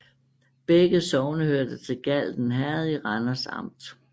Begge sogne hørte til Galten Herred i Randers Amt